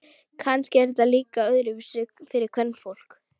Kannski er þetta líka öðruvísi fyrir kvenfólk.